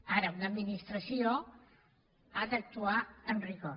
ara una administració ha d’actuar amb rigor